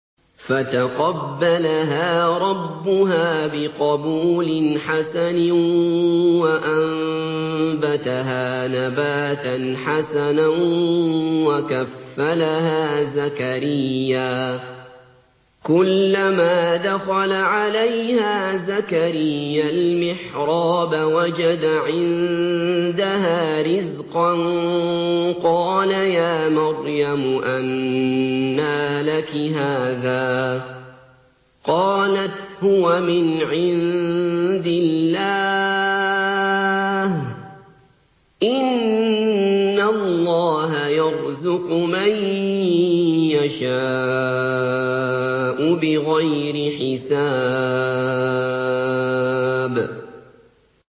فَتَقَبَّلَهَا رَبُّهَا بِقَبُولٍ حَسَنٍ وَأَنبَتَهَا نَبَاتًا حَسَنًا وَكَفَّلَهَا زَكَرِيَّا ۖ كُلَّمَا دَخَلَ عَلَيْهَا زَكَرِيَّا الْمِحْرَابَ وَجَدَ عِندَهَا رِزْقًا ۖ قَالَ يَا مَرْيَمُ أَنَّىٰ لَكِ هَٰذَا ۖ قَالَتْ هُوَ مِنْ عِندِ اللَّهِ ۖ إِنَّ اللَّهَ يَرْزُقُ مَن يَشَاءُ بِغَيْرِ حِسَابٍ